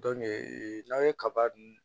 n'aw ye kaba dun